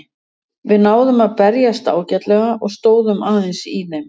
Við náðum að berjast ágætlega og stóðum aðeins í þeim.